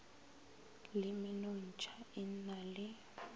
le menontšha e na le